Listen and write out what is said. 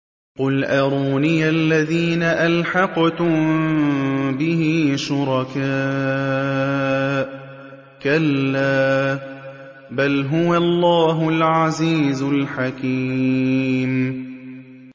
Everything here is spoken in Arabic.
قُلْ أَرُونِيَ الَّذِينَ أَلْحَقْتُم بِهِ شُرَكَاءَ ۖ كَلَّا ۚ بَلْ هُوَ اللَّهُ الْعَزِيزُ الْحَكِيمُ